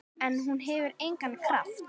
En hún hefur engan kraft.